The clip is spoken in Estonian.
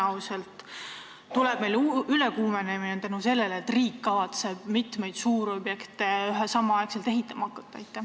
Tõenäoliselt tekib meil ülekuumenemine, sest riik kavatseb samal ajal hakata ehitama mitmeid suurobjekte.